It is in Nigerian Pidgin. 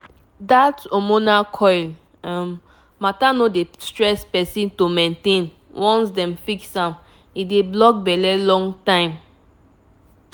that hormonal coil matter no dey stress person to maintain once dem fix am e dey block belle long time small pause.